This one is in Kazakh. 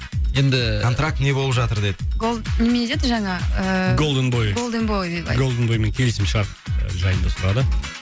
енді ііі контракт не болып жатыр деді голд немене деді жаңа ыыы голден бой голден бой деп голден боймен келісім шарт жайында сұрады